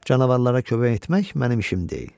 Canavarlara kömək etmək mənim işim deyil.